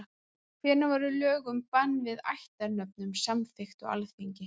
Hvenær voru lög um bann við ættarnöfnum samþykkt á Alþingi?